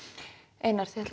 einar þetta